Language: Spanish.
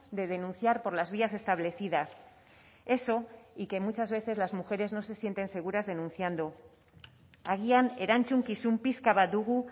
de denunciar por las vías establecidas eso y que muchas veces las mujeres no se sienten seguras denunciando agian erantzukizun pixka bat dugu